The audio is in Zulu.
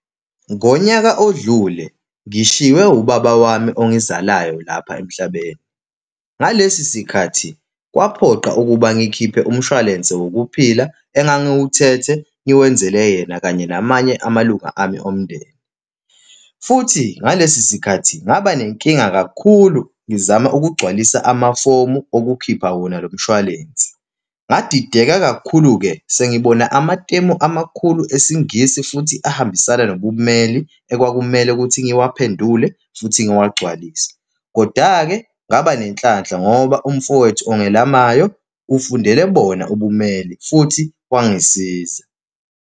Ngonyaka odlule ngishiywe ubaba wami ongizalayo lapha emhlabeni. Ngalesi sikhathi, kwaphoqa ukuba ngikhiphe umshwalense wokuphila engangiwuthethe, ngikwenzele yena kanye namanye amalunga ami omndeni, futhi ngalesi sikhathi ngaba nenkinga kakhulu, ngizama ukugcwalisa amafomu okukhipha wona lo mshwalense. Ngadideka kakhulu-ke sengibona amatemu amakhulu esiNgisi futhi ahambisana nobummeli, ekwakumele ukuthi ngiwuphendule futhi ngiwagcwalise. Koda-ke, ngaba nenhlanhla ngoba umfowethu ongelamayo ufundele bona ubummeli, futhi kwangisiza.